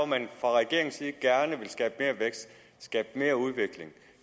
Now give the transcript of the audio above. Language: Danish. man fra regeringens side gerne vil skabe mere vækst skabe mere udvikling